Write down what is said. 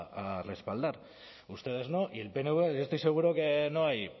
a respaldar ustedes no y el pnv yo estoy seguro que no hay